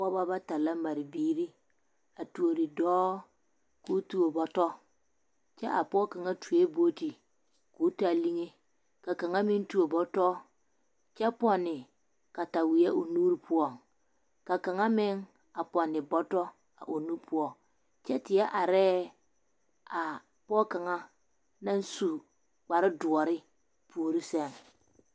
Pɔgebɔ bata la mare biiri a tuori dɔɔ k'o tuo bɔtɔ kyɛ a pɔge kaŋ tuoe booti k'o taa liŋe ka kaŋa meŋ tuo bɔtɔ kyɛ pɔnne kataweɛ o nuuri poɔŋ ka kaŋa meŋ pɔnne bɔtɔ a o nu poɔŋ kyɛ teɛ arɛɛ a pɔge kaŋa naŋ su kpare doɔre puori sɛŋ.